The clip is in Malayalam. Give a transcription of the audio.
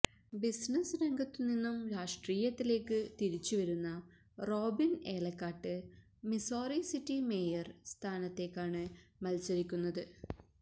ബിസിനസ് രംഗത്തു നിന്നും രാഷ്ട്രീയത്തിലേക്ക് തിരിച്ചുവരുന്ന Robin Elakkattu Missouri City mayor സ്ഥാനത്തെക്കാണ് മത്സരിക്കുന്നത്